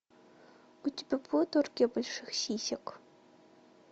у тебя будет оргия больших сисек